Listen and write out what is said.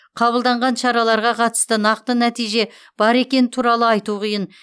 қабылданған шараларға қатысты нақты нәтиже бар екені туралы айту қиын